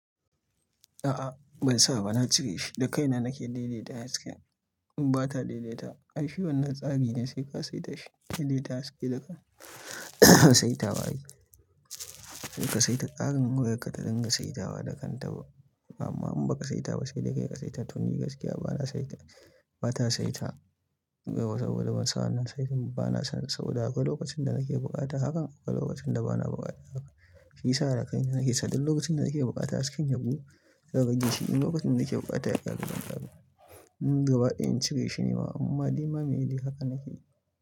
A'a ban sa ba, na cire shi da kaina nake daidaita hasken. In ba ta daidaita, ai shi wannan tsari ne sai ka saita shi. Ki daidaita haske da saita ba yi. Sai ka saita tsarin wayarka ta dinga saita ba da kanta ba. Amma in ba ka saita ba sai da kai ka saita tun ni gaskiya bana saita. Ba ta saita waya saboda ban sa wannan saitin ba, bana son sa. Da akwai lokacin da nake bukata hakan, akwai lokacin da bana bukata hakan. Shi yasa a kan nake sadin lokacin da nake bukata hasken yabu ya gaji shi. In lokacin da nake bukata ya ƙara zama ƙarfi. Mm gaba ɗaya in cire shi ne ma amma dai ma muyi hakan nake.